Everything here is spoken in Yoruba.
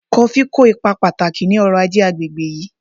Kofí kó ipa pàtàkì ní ọrọ-ajé àgbègbè yìí